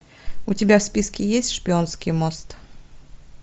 у тебя в списке есть шпионский мост